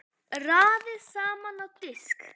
Raðið saman á disk.